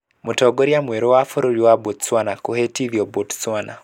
Mũtongoria mwerũ wa bũrũri wa Botswana kwĩhĩtithio Botswana.